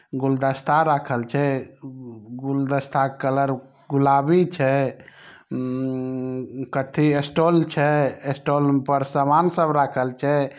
गुलदस्ता राखल छै। ऊ गुलदस्ता कलर गुलाबी छै। ऊ कतथी ऐ स्टोल छै। स्टोल पर समान सब राखल छै।